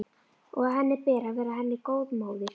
Og að henni ber að vera henni góð móðir.